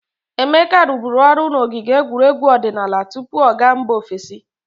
Emeka rụbụrụ ọrụ n'ogige egwuregwu odinaala tupu ọ ga mba ofesi.